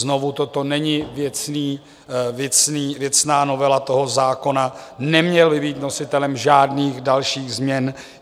Znovu, toto není věcná novela toho zákona, neměl by být nositelem žádných dalších změn.